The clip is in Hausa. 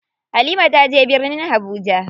Halima taje birnin Habuja.